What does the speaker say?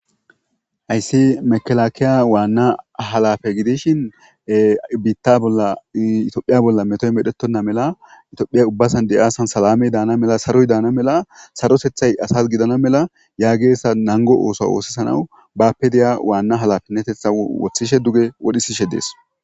Hayssi mekelakiya waanna halafe gidishin biitta bollaitophiya bolla metoy medhettonna mela itophiya ubbasan de'aasan salamey daana mela saroy daana mela sarosethay asas gidana mela yaageessa nango oosa woossesanaw bapedeya waanna halafennetetha wothishe duge wodhisishe dees.